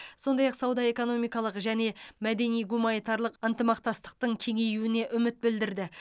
сондай ақ сауда экономикалық және мәдени гуманитарлық ынтымақтастықтың кеңеюіне үміт білдірді